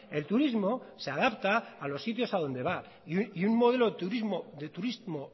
el turismo se adapta a los sitios a donde va y un modelo de turismo